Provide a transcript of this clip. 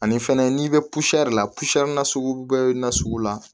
Ani fɛnɛ n'i bɛ la na sugu bɛɛ bɛ na sugu la